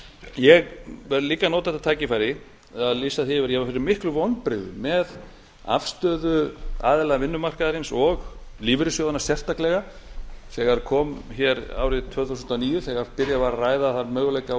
ég vil líka nota þetta tækifæri til að lýsa því yfir að ég varð fyrir miklum vonbrigðum með afstöðu aðila vinnumarkaðarins og lífeyrissjóðanna sérstaklega þegar kom hér árið tvö þúsund og níu þegar byrjað var að ræða þann möguleika